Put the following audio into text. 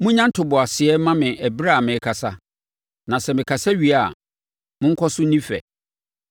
Monnya ntoboaseɛ mma me ɛberɛ a merekasa, na sɛ mekasa wie a, monkɔso nni fɛ.